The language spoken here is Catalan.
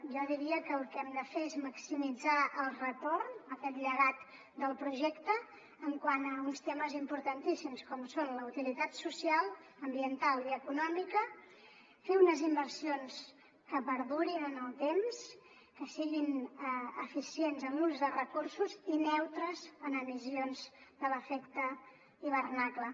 jo diria que el que hem de fer és maximitzar el retorn aquest llegat del projecte quant a uns temes importantíssims com són la utilitat social ambiental i econòmica fer unes inversions que perdurin en el temps que siguin eficients en l’ús de recursos i neutres en emissions de l’efecte hivernacle